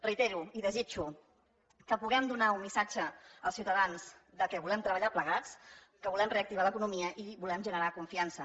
reitero i desitjo que puguem donar un missatge als ciutadans que volem treballar plegats que volem reactivar l’economia i volem generar confiança